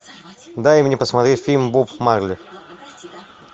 дай мне посмотреть фильм боб марли